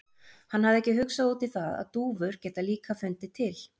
Hann hafði ekki hugsað út í það að dúfur geta líka fundið til.